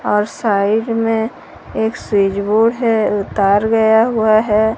और साइड में एक स्विच बोर्ड है और तार गया हुआ है।